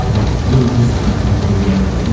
la si kejui kelang adim.